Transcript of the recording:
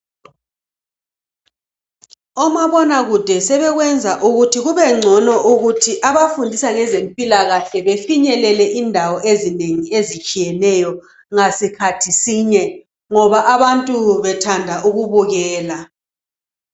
Omabona kude sebekwenza ukuthi kubengcono ukuthi abafundisa ngezempilakahle befinyelele indawo ezinengi ezitshiyeneyo ngasikhathi sinye ngoba abantu bethanda ukubukela.